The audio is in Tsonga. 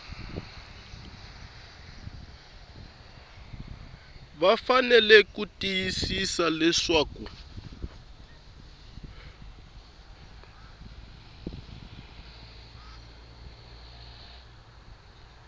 va fanele ku tiyisisa leswaku